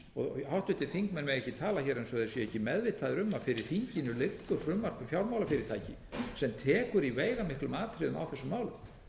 herða háttvirtir þingmenn mega ekki tala hér eins og þeir séu ekki meðvitaðir um að fyrir þinginu liggur frumvarp um fjármálafyrirtæki sem tekur í veigamiklum atriðum á þessum málum